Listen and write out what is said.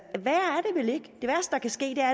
kan ske er